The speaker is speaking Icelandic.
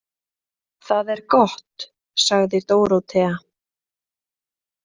Það er gott, sagði Dórótea.